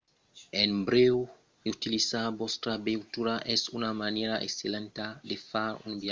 en brèu utilizar vòstra veitura es una manièra excellenta de far un viatge sus la rota mas rarament una manièra d'esperela de far de campatge